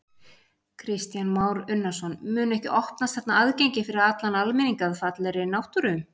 Kristján Már Unnarsson: Mun ekki opnast þarna aðgengi fyrir allan almenning að fallegri náttúru?